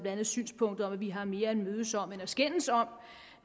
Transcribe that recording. andet synspunktet om at vi har mere at mødes om end at skændes om